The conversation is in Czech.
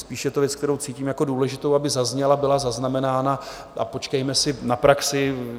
Spíš je to věc, kterou cítím jako důležitou, aby zazněla, byla zaznamenána, a počkejme si na praxi.